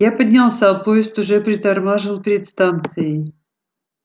я поднялся поезд уже притормаживал перед станцией